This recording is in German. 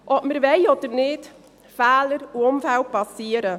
Ob wir es wollen oder nicht: Fehler und Unfälle passieren.